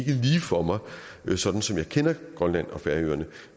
for mig sådan som jeg kender grønland og færøerne